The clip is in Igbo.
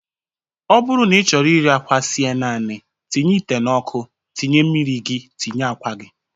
Ọ bụrụ na ị chọrọ iri akwa sie naanị tinye ite n'ọkụ tinye mmiri gị, tinye akwa gị